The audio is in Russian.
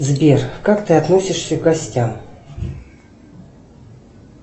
сбер как ты относишься к гостям